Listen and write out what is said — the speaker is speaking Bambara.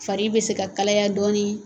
Fari bɛ se ka kalaya dɔɔnin.